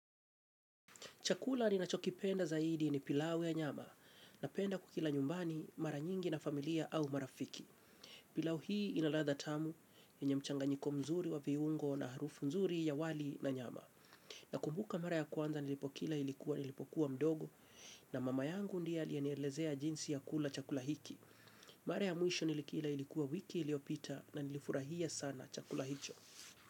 Chakula ninachokipenda zaidi ni pilau ya nyama, napenda kukila nyumbani, mara nyingi na familia au marafiki. Pilau hii inaladha tamu, yenye mchanganyiko mzuri wa viungo na harufu nzuri ya wali na nyama. Nakumbuka mara ya kwanza nilipokila ilikuwa nilipokuwa mdogo, na mama yangu ndiye aliyenielezea jinsi ya kula chakula hiki. Mara ya mwisho nilikila ilikuwa wiki iliopita na nilifurahia sana chakula hicho.